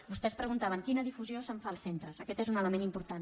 vostès preguntaven quina difusió se’n fa als centres aquest és un element important